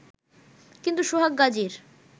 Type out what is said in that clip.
কিন্তু সোহাগ গাজীর